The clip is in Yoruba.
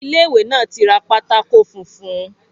Ilé ìwé náà tí ra pátákó funfun